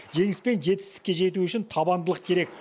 жеңіс пен жетістікке жету үшін табандылық керек